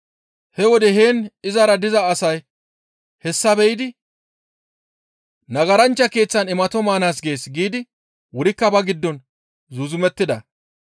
He wode heen izara diza asay hessa be7idi, «Nagaranchcha keeththan imato maana gees» giidi wurikka ba giddon zuuzumettida.